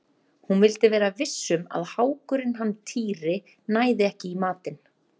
Hún vildi vera viss um að hákurinn hann Týri næði ekki í matinn.